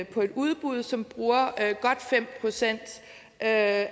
på et udbud som bruger godt fem procent af